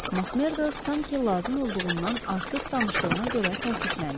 Makmerdo sanki lazım olduğundan artıq danışdığına görə təəssüfləndi.